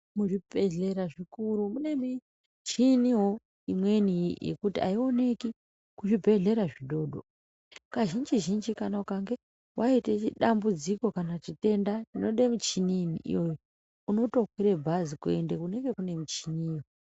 Mu zvibhedhlera zvikuru mune michiniwo imweni yekuti ayioneki ku zvibhedhlera zvi dodori kazhinji zhinji kana ukange waite dambudziko kana chitenda chinoda muchini iyoyo unoto kwira bhazi kuende kunenge kune michini iyoyo.